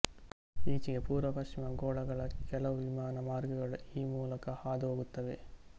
ಈಚೆಗೆ ಪೂರ್ವ ಪಶ್ಚಿಮ ಗೋಳಗಳ ಕೆಲವು ವಿಮಾನ ಮಾರ್ಗಗಳು ಈ ಮೂಲಕ ಹಾದು ಹೋಗುತ್ತವೆ